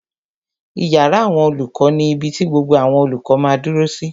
Ìyàrá àwọn olùkọ́ ni ibi ti gbogbo àwọn olùkọ́ máa dúró sí